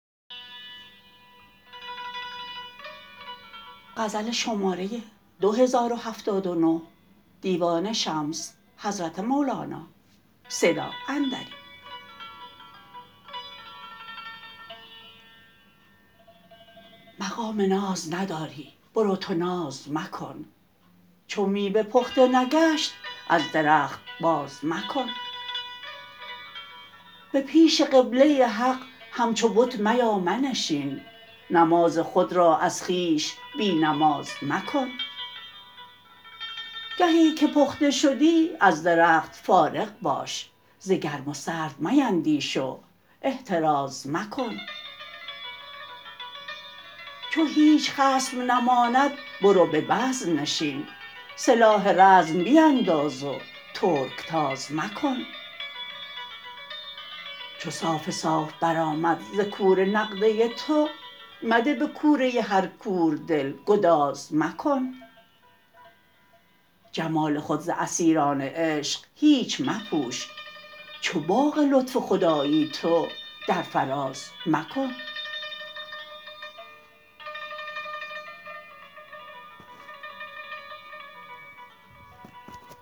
مقام ناز نداری برو تو ناز مکن چو میوه پخته نگشت از درخت بازمکن به پیش قبله حق همچو بت میا منشین نماز خود را از خویش بی نماز مکن گهی که پخته شدی از درخت فارغ باش ز گرم و سرد میندیش و احتراز مکن چو هیچ خصم نماند برو به بزم نشین سلاح رزم بینداز و ترک تاز مکن چو صاف صاف برآمد ز کوره نقده تو مده به کوره هر کوردل گداز مکن جمال خود ز اسیران عشق هیچ مپوش چو باغ لطف خدایی تو در فراز مکن